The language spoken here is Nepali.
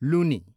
लुनी